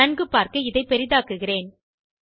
நன்கு பார்க்க இதனைப் பெரிதாக்குகிறேன்